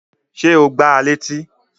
Ṣé o gbá a létí?